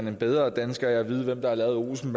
en bedre dansker af at vide hvem der har lavet olsen